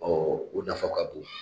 o nafa ka bon.